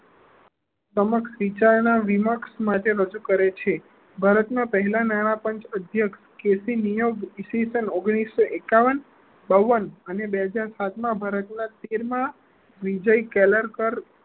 સમક્ષ વિચારણા વિમક્ષ માટે કરે છે ભારત ના પહેલા નાણાકીય અધ્યક્ષ કેસી નીયબ ઈસ્વીસન ઓન્ગ્લીસો એકાવન, બાવન અને બે હજાર સાત માં ભારત ના તેર માં વિજય કેલારકાર